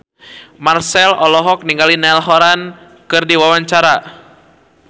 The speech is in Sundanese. Marchell olohok ningali Niall Horran keur diwawancara